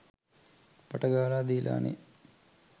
පට ගාලා දීලානේ.